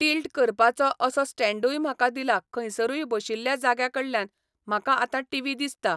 Tilt करपाचो असो स्टँण्डूय म्हाका दिला खंयसरूय बशिल्ल्या जाग्या कडल्यान म्हाका आतां टिवी दिसता.